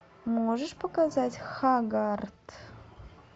можешь показать хаггард